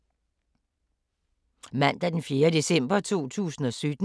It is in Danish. Mandag d. 4. december 2017